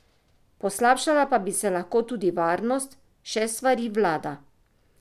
Poslabšala pa bi se lahko tudi varnost, še svari vlada.